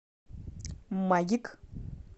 магик